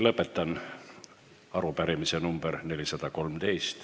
Lõpetan arutelu seoses arupärimisega nr 413.